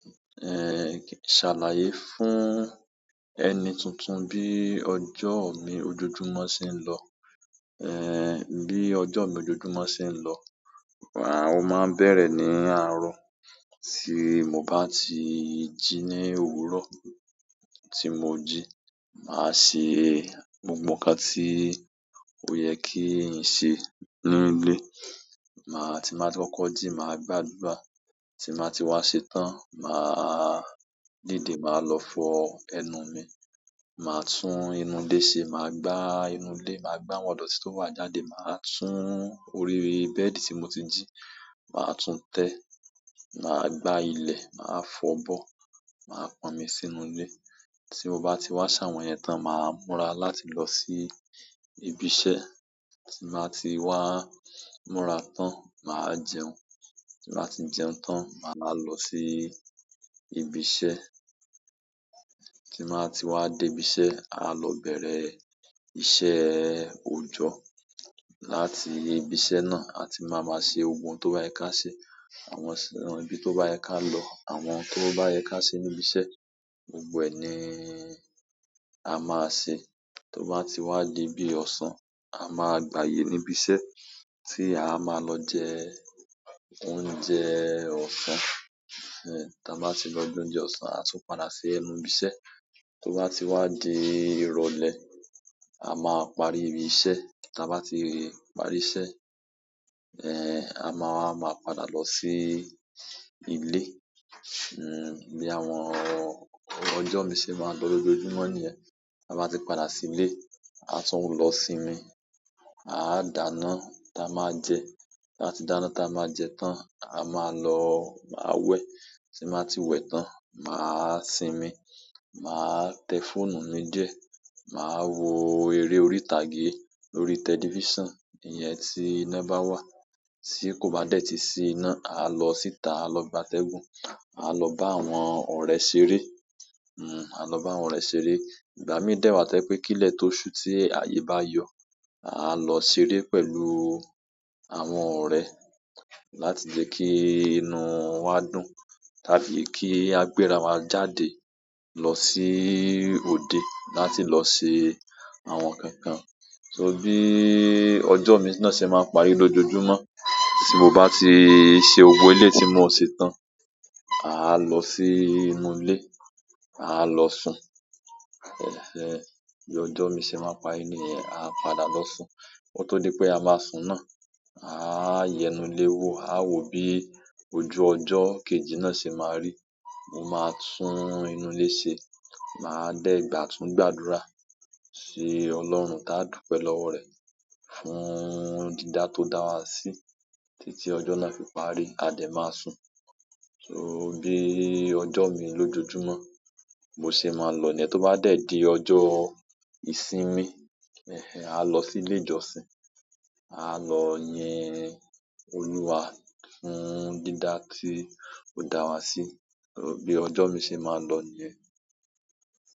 Ṣàlàyé fún ẹni tuntun bí ọjọ́ mi ojoojúmọ́ ṣe ń lọ. Bí ọjọ́ mi ojoojúmọ́ ṣe ń lọ, àwọ máa bẹ̀rẹ̀ ní àárọ̀. Tí mo bá ti jí ní òwúrọ̀ tí mo jí, màá ṣe gbogbo nǹkan tí ó yẹ kí ènìyàn ṣe nínú ilé. Tí máa ti kọ kọ́ jí, màá gbàdúgbà. Tí màá ti wá ṣe tán, màá dìde, màá lọ fọ ẹnu mi. Màá tún inú ilé ṣe, màá gbá inú ilé, màá gbá àwọn idotí ó wà jáde, màá tún orí bẹ́ẹ̀dì tí mo ti jí, màá tún tẹ́, màá gbá ilẹ̀, màá fọ bọ, màá pọn omi sínú ilé. Tí mo bá ti wá ṣàwọn yẹn tán, màá múra láti lọ sí ibi iṣẹ́. Tí màá ti wá múra tán, màá jẹun. Tí màá ti jẹun tán, màá lọ sí ibi iṣẹ́. Tí bàá ti wá dé ibi iṣẹ́, àá lọ bẹ̀rẹ̀ iṣẹ́ òojọ́. Láti ibi iṣẹ́ náà, àti máa máa ṣe ohun tó bá yẹ ká ṣe. Àwọn síran ibi tó bá yẹ ká lọ, àwọn tó bá yẹ ká ṣe níbi iṣẹ́, gbogbo ẹ̀ ní a máa ṣe. Tó bá ti wá dé bí ọ̀sán, a máa gbaye níbi iṣẹ́ tí a máa lọ jẹ oúnjẹ ọ̀sán. Tí a bá ti lọ jẹ oúnjẹ ọ̀sán, a tún padà sí ẹnu ibi iṣẹ́. Tó bá ti wá di ìrọ̀lẹ́, a máa parí iṣẹ́. Tí a bá ti parí iṣẹ́, àwa máa padà lọ sí ilé. Bí àwọn ọjọ́ mi ṣe máa lọ lójoojúmọ́ nìyẹn. A bá ti padà sí ilé, àá tún lọ sinmi, àá dáná táa máa jẹ. Tí a ti dáná táa máa jẹ tán, à máa lọ máa wẹ̀. Tí mbàá ti wẹ̀ tán, màá sinmi, màá tẹ fóònù mi díẹ̀, màá wo eré orí ìtàgé lórí tẹlifíṣàn, ìyẹn tí iná bá wà. Tí kò bá dé tí sí iná, àá lọ síta, àá lọ gba tẹ́gùn, àá lọ bá àwọn ọ̀rẹ́ ṣeré. Àá lọ bá àwọn ọ̀rẹ́ ṣeré. Ìgbà míì dẹ́wàá tẹ́ pé kí lẹ́tò oṣù tí àyè bá yọ, àá lọ ṣeré pẹ̀lú àwọn ọ̀rẹ́ láti jẹ́ kí inú wa dùn, tàbí kí a gbéra wa jáde lọ sí òde láti lọ ṣe àwọn nǹkan kan. So bí ọjọ́ mi náà ṣe máa parí lójoojúmọ́. Tí mo bá ti ṣe ohun elé ti mo ṣe tán, àá lọ sí inú ilé, àá lọ sùn. Bí ọjọ́ mi ṣe máa parí nìyẹn. Àá padà lọ sùn. Kó tó dé pé a máa sùn náà, àá yẹnulẹ́wó, àá wò bí ojú ọjọ́ kejì náà ṣe máa rí. Moma tun inú ile se ma de tun gbàdúrà si ọlọ́run taa dupe lowo re fún dida to da wa si titi ojo na fi paari a de ma sun so bí ọjọ́ mi lójoojúmọ́ bo ṣe máa lọ ni yen tó bá dẹ̀ di ọjọ́ ìsinmi, àá lọ sí ilé ìjọsìn. Àá lọ yin Olúwa fún dídá tí ó dá wa sí. Bí ọjọ́ mi ṣe máa lọ nìyẹn.